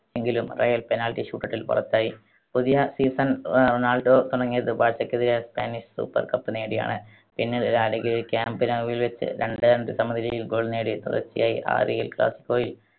എങ്കിലും Real penalty shootout ൽ പുറത്തായി. പുതിയ season റൊ~റൊണാൾഡോ തുടങ്ങിയത് ബാഴ്സയ്ക്കെതിരെ സ്പാനിഷ് super cup നേടിയാണ്. പിന്നീട് ലാ ലീഗയിൽ ക്യാമ്പ് നൗവിൽ വെച്ച് രണ്ട് രണ്ട് സമനിലയിൽ goal നേടി തുടർച്ചയായി ആറ് എൽ ക്ലാസ്സിക്കോയിൽ